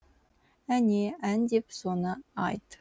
әне ән деп соны айт